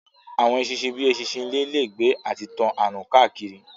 Àwọn eṣinṣin bíi eṣinṣin ilé lè gbé àti tán àrùn káàkiri